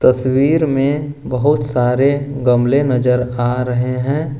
तस्वीर में बहुत सारे गमले नजर आ रहे हैं।